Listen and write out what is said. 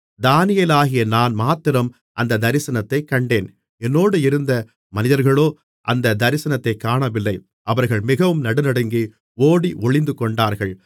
தானியேலாகிய நான் மாத்திரம் அந்தத் தரிசனத்தைக் கண்டேன் என்னோடே இருந்த மனிதர்களோ அந்தத் தரிசனத்தைக் காணவில்லை அவர்கள் மிகவும் நடுநடுங்கி ஓடி ஒளிந்துகொண்டார்கள்